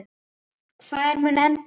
Hvar mun þetta enda?